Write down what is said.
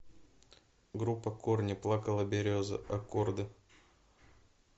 группа корни плакала береза аккорды